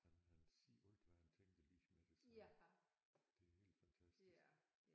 Han han siger alt hvad han tænker lige med det samme det er helt fantastisk